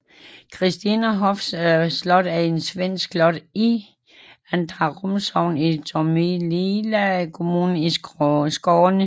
Christinehofs slot er et svensk slot i Andrarum sogn i Tomelilla kommune i Skåne